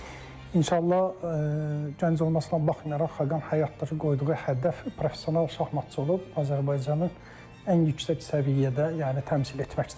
İnşallah, gənc olmasına baxmayaraq Xaqan həyatda da qoyduğu hədəf professional şahmatçı olub Azərbaycanın ən yüksək səviyyədə yəni təmsil etməkdir.